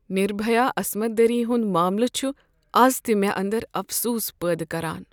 نربھیا عصمت دری ہنٛد معملہٕ چھ از تہ مےٚ اندرافسوٗس پٲدٕ کران۔